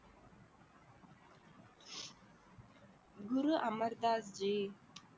Guru Amardas G